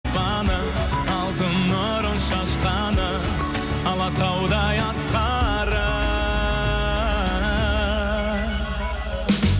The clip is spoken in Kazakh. алтын нұрын шашқаны алатаудай асқары